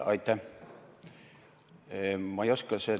Aitäh!